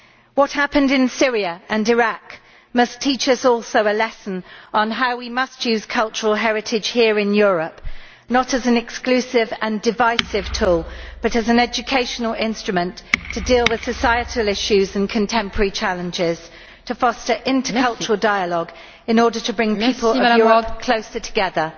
What happened in Syria and Iraq must also teach us a lesson on how we must use cultural heritage here in Europe, not as an exclusive and divisive tool, but as an educational instrument to deal with societal issues and contemporary challenges, to foster intercultural dialogue in order to bring people of Europe closer together.